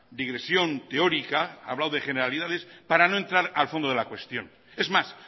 digresión teórica ha hablado de generalidades para no entrar al fondo de la cuestión es más